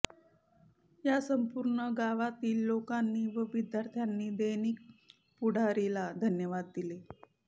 या संपूर्ण गावातील लोकानी व विद्यार्थ्यानी दैनिक पुढारीला धन्यवाद दिले